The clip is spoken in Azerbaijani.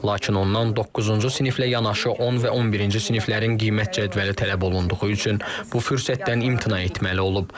Lakin ondan doqquzuncu siniflə yanaşı 10 və 11-ci siniflərin qiymət cədvəli tələb olunduğu üçün bu fürsətdən imtina etməli olub.